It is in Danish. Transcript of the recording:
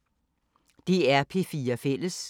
DR P4 Fælles